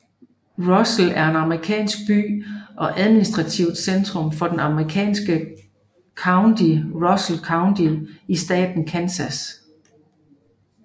Russell er en amerikansk by og administrativt centrum for det amerikanske county Russell County i staten Kansas